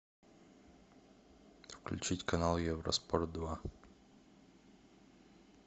включить канал евроспорт два